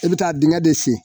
I bɛ taa dingɛ de sen